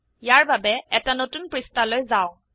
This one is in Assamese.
ইয়াৰ বাবে এটা নতুন পৃষ্ঠালৈ যাওক